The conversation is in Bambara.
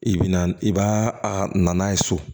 I bi na i b'a a na n'a ye so